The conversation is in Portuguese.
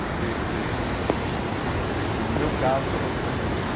não sei se não sei, no meu caso, foi muito isso.